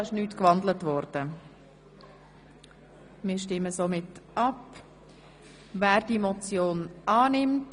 diese ist nicht gewandelt 015-2017 Motion 23.01.2017 Geissbühler-Strupler (Herrenschwanden, SVP)